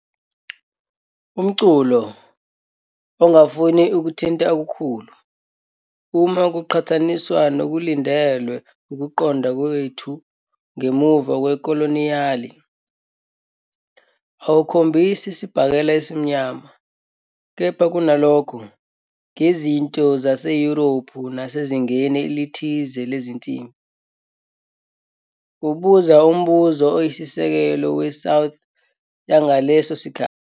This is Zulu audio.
Umculo, ongafuni ukuthinta okukhulu, uma kuqhathaniswa nokulindelwe ukuqonda kwethu "ngemuva kwekoloniyali", awukhombisi isibhakela esimnyama, kepha kunalokho, ngezinto zaseYurophu nasezingeni elithile lezinsimbi, ubuza umbuzo oyisisekelo weSouth yangaleso sikhathi